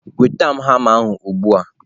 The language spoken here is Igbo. nweta m hama ugbu a!